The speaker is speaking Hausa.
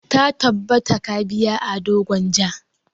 Ta tabbata ka biya ado gwanja!